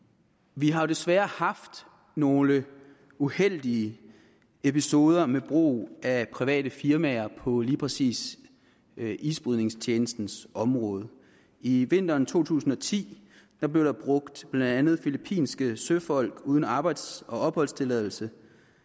vi har desværre haft nogle uheldige episoder med brug af private firmaer på lige præcis isbrydningstjenestens område i vinteren to tusind og ti blev der brugt blandt andet filippinske søfolk uden arbejds og opholdstilladelse